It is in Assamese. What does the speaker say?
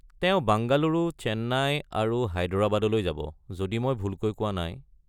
তেওঁ বাঙ্গালুৰু, চেন্নাই আৰু হায়দৰাবাদলৈ যাব, যদি মই ভুলকৈ কোৱা নাই।